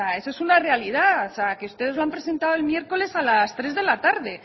eso es una realidad ustedes lo han presentado el miércoles a las tres de la tarde